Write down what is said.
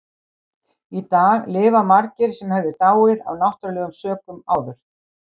Í dag lifa margir sem hefðu dáið af náttúrulegum sökum áður.